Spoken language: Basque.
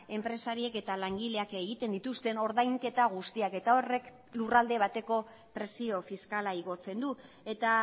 enpresariek eta langileak egiten dituzten ordainketa guztiak eta horrek lurralde bateko presio fiskala igotzen du eta